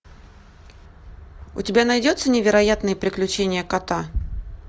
у тебя найдется невероятные приключения кота